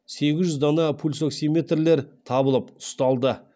сегіз жүз дана пульсоксиметрлер табылып ұсталды